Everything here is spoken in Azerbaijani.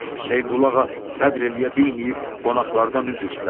Hüseynqulu ağa səbr eləyə bilməyib qonaqlardan üzr istədi.